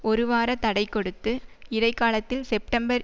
ஒருவார தடை கொடுத்து இடை காலத்தில் செப்டம்பர்